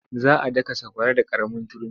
Za a daka sakwara da ƙaramin turmi.